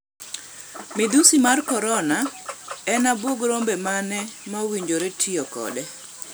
Midhusi mar Korona: En abwog rombe mane ma owinjore tiyo kode?